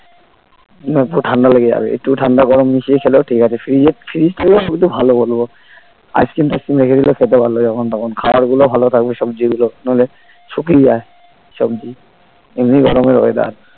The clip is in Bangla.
না একটু ঠাণ্ডা লেগে যাবে একটু ঠান্ডা গরম মিশিয়ে খেলেও ঠিক আছে fridge এর fridge থাকালে আমি তো ভালো বলবো ice cream টাইসক্রিম রেখে দিলেও খেতে পারলো যখন তখন খাওয়ার গুলোও ভালো থাকবে সবজি গুলো নইলে শুকিয়ে যায় সবজি এমনি গরমের weather